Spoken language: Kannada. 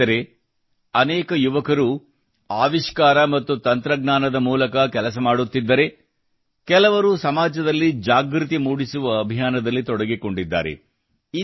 ಸ್ನೇಹಿತರೇ ಅನೇಕ ಯುವಕರು ಆವಿಷ್ಕಾರ ಮತ್ತು ತಂತ್ರಜ್ಞಾನದ ಮೂಲಕ ಕೆಲಸ ಮಾಡುತ್ತಿದ್ದರೆ ಕೆಲವರು ಸಮಾಜದಲ್ಲಿ ಜಾಗೃತಿ ಮೂಡಿಸುವ ಅಭಿಯಾನದಲ್ಲಿ ತೊಡಗಿಕೊಂಡಿದ್ದಾರೆ